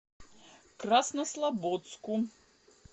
краснослободску